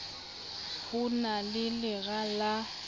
ho na le lera la